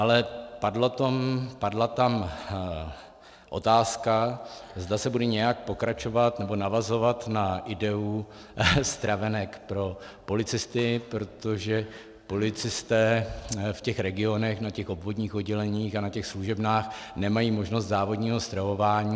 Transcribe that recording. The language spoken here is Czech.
Ale padla tam otázka, zda se bude nějak pokračovat nebo navazovat na ideu stravenek pro policisty, protože policisté v těch regionech, na těch obvodních odděleních a na těch služebnách nemají možnost závodního stravování.